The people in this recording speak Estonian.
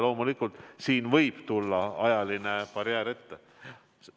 Loomulikult siin võib tulla ajaline barjäär ette.